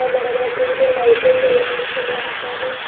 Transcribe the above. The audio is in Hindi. और बड़ा-बड़ा पोल है लाइटें जल रही हैं बहुत सारी।